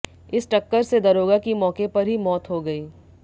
इस टक्कर से दरोगा की मौके पर ही मौत हो गई